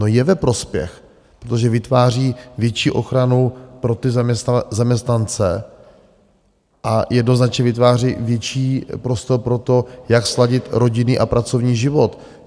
No, je ve prospěch, protože vytváří větší ochranu pro ty zaměstnance a jednoznačně vytváří větší prostor pro to, jak sladit rodinný a pracovní život.